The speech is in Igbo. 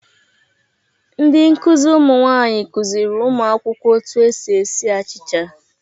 Ndị nkụzi ụmụ nwaanyị kụzịrị ụmụ akwụkwọ otu esi esi achịcha.